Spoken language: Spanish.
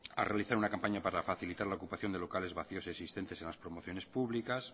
a realizar una campaña para facilitar la ocupación de locales vacios existentes en la promociones públicas